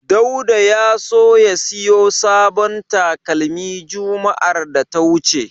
Dauda ya so ya siyo sabon talakmi juma'ar da ta wuce.